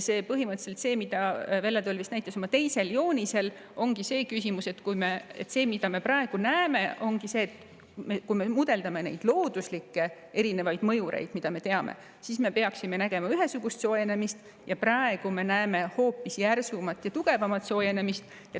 Põhimõtteliselt näitas seda Velle Toll oma teisel joonisel ja seda me praegu ka näeme: kui me mudeldame erinevaid looduslikke mõjureid, mida me teame, siis me peaksime nägema ühesugust soojenemist, aga praegu me näeme hoopis järsumalt tugevamat soojenemist.